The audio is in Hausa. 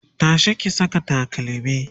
tashi ki Saka takalmi!